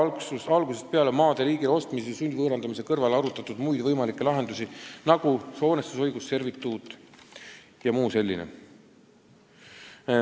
Miks ei ole algusest peale maade riigile ostmise ja sundvõõrandamise kõrval arutatud muid võimalikke lahendusi, nagu hoonestusõigus, servituut jm?